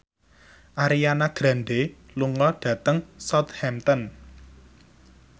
Ariana Grande lunga dhateng Southampton